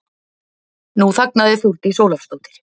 Nú þagnaði Þórdís Ólafsdóttir.